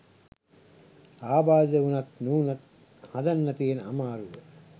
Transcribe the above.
ආබාධිත වුනත් නූනත් හදන්න තියෙන අමාරුව